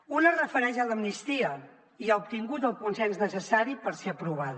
una es refereix a l’amnistia i ha obtingut el consens necessari per ser aprovada